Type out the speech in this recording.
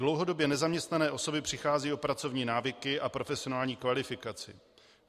Dlouhodobě nezaměstnané osoby přicházejí o pracovní návyky a profesionální kvalifikaci.